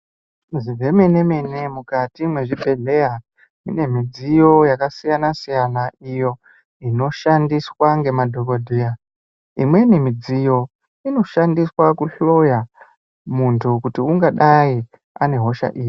Zvemenemene mukati mwezvibhehleya mune midziyo yakasiyanasiyana iyo inoshandiswa ngemadhokodheya imweni midziyo inoshandiswe kuhloya muntu kuti ungadai ane hosha iri.